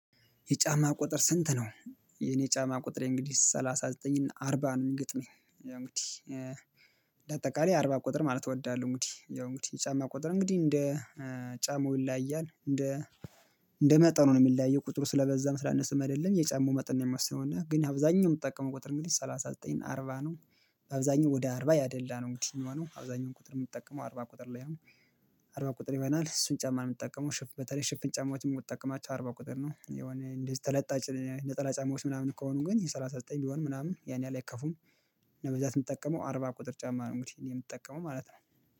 የጫማ ቁጥር ስንት ነው? የኔ የጫማ ቁጥሬ እንግዲህ ሰላሳ ዘጠኝ እና አርባ ነው የሚገጥመኝ ያው እንግዲህ ለአጠቃላይ አርባ ቁጥር ማለት እወዳለሁ። እንግዲህ ያው እንግዲህ የጫማ ቁጥር እንግዲህ እንደ ጫማው ይለያያል እንደ እንደ መጠኑ ነው የሚለያየው ቁጥሩ ስለበዛም ስላነሰም አይደለም የጫማው መጠን ነው የሚወስነው እና ግን አብዛኛው የምጠቀመው ቁጥር እንግዲህ ሰላሳ ዘጠኝና አርባ ነው። አብዛኛው ወደ አርባ ያደላ ነው እንግዲህ የሚሆነው አብዛኛውን ቁጥር የምጠቀመው አርባ ቁጥር ላይ። አርባ ቁጥር ይሆናል እሱን ጫማ ነው የምጠቀመው ሽፍ በተለይ ሽፍን ጫማዎችን የምጠቀማቸው አርባ ቁጥር ነው የሆነ እንደዚህ ተለጣጭ ነጠላ ጫማዎች ምናምን ከሆኑ ግን የሠላሳ ዘጠኝ ቢሆን ምናምን ያን ያህል አይከፉም። እና በብዛት የምጠቀመው አርባ ቁጥር ጫማ ነው እንግዲህ እኔ የምትጠቀመው ማለት ነው